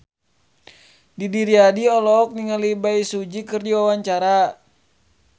Didi Riyadi olohok ningali Bae Su Ji keur diwawancara